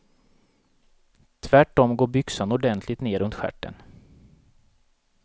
Tvärt om går byxan ordenligt ner runt stjärten.